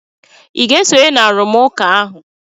Ị ga-esonye na arụmụka ahụ?